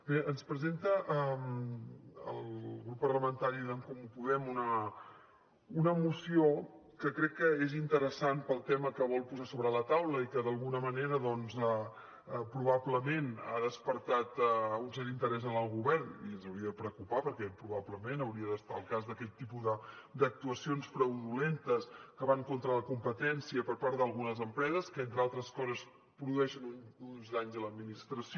bé ens presenta el grup parlamentari d’en comú podem una moció que crec que és interessant pel tema que vol posar sobre la taula i que d’alguna manera doncs probablement ha despertat un cert interès en el govern i ens hauria de preocupar perquè probablement hauria d’estar al cas d’aquest tipus d’actuacions fraudulentes que van contra la competència per part d’algunes empreses que entre altres coses produeixen uns danys a l’administració